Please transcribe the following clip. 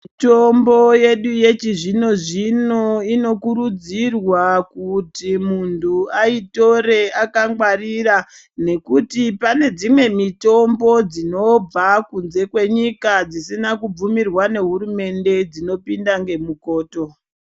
Mitombo yedu yechizvino zvino, inokurudzirwa kuti muntu ayitore akangwarira, nekuti pane dzimwe mitombo dzinobva kunze kwenyika dzisina kubvumirwa nehurumende, dzinopinda ngemukoto.